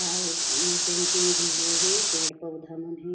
लाल में पेंटिंग भी हो हे पेड़-पौधा मन हे ।